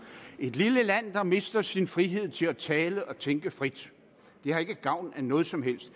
et lille land der mister sin frihed til at tale og tænke frit har ikke gavn af noget som helst